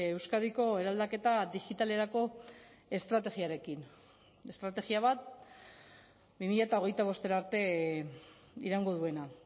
euskadiko eraldaketa digitalerako estrategiarekin estrategia bat bi mila hogeita bostera arte iraungo duena